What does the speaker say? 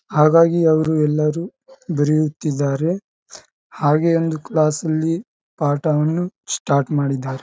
ಹಾಗಾಗಿ ಅವರು ಎಲ್ಲರು ಬರೆಯುತ್ತಿದ್ದಾರೆ. ಹಾಗೇ ಒಂದು ಕ್ಲಾಸ್ ಲ್ಲಿ ಪಾಠವನ್ನು ಸ್ಟಾರ್ಟ್ ಮಾಡಿದ್ದಾರೆ.